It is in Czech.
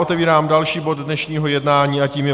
Otevírám další bod dnešního jednání a tím je